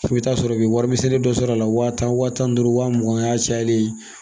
i bɛ taa sɔrɔ i bi wari misɛnnin dɔ sɔrɔ a la wa tan wa tan ni duuru wa mugan o y'a cayalen ye.